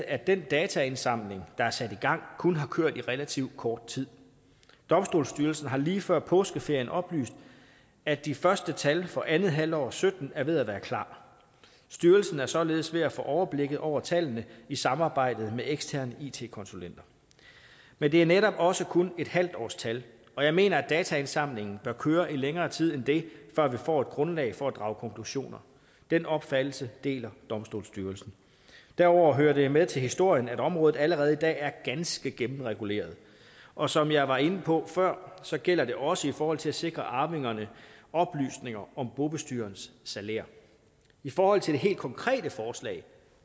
at den dataindsamling der er sat i gang kun har kørt i relativt kort tid domstolsstyrelsen har lige før påskeferien oplyst at de første tal for andet halvår af og sytten er ved at være klar styrelsen er således ved at få overblikket over tallene i samarbejde med eksterne it konsulenter men det er netop også kun et halvt års tal og jeg mener at dataindsamlingen bør køre i længere tid end det før vi får et grundlag for at drage konklusioner den opfattelse deler domstolsstyrelsen derudover hører det med til historien at området allerede i dag er ganske gennemreguleret og som jeg var inde på før gælder det også i forhold til at sikre arvingerne oplysninger om bobestyrerens salær i forhold til det helt konkrete forslag